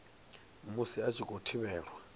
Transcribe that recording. musi a tshi khou thivhelwa